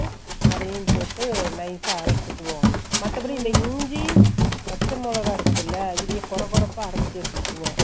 அதையும் போட்டு nice அ அறச்சுகோவோம் மத்தபடி இந்த இஞ்சி பச்ச மொளக இருக்குதுல இதைய கொரகொரகறப்பா அரைச்சு எடுத்துப்போம்